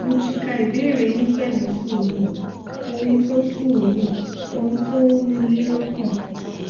mo ti ka ìbéèrè yín pẹlú sùúrù ohun tó sùúrù ohun tó ń ru yín lọkàn